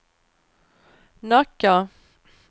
Nacka